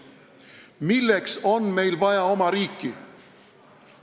Milleks on meil vaja oma riiki?